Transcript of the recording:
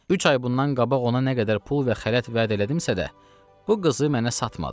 Üç ay bundan qabaq ona nə qədər pul və xələt vəd elədimsə də, bu qızı mənə satmadı.